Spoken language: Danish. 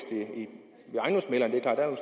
det